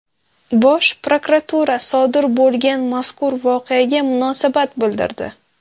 Bosh prokuratura sodir bo‘lgan mazkur voqeaga munosabat bildirdi.